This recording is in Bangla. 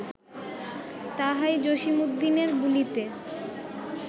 তাহাই জসীমউদ্দীনের বুলিতে